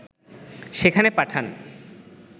সেখানে পাঠান